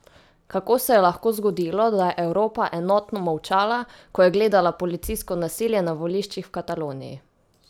Kako se je lahko zgodilo, da je Evropa enotno molčala, ko je gledala policijsko nasilje na voliščih v Kataloniji?